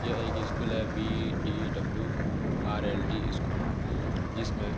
यह एक स्कूल है बी.डी.डबल्यू.आर.एल.डी स्कूल जिसमें --